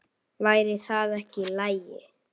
Væri það ekki í lagi?